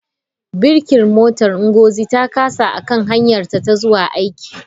Birkin motar Ngozi ta kasa a kan hanyarta ta zuwa aiki.